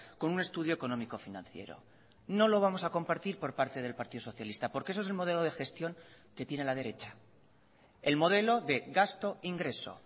con un estudio económico financiero no lo vamos a compartirpor parte del partido socialista porque eso es el modelo de gestión que tiene la derecha el modelo de gasto ingreso